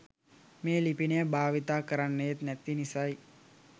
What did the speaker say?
මේ ලිපිනය භාවිත කරන්නේත් නැති නිසයි.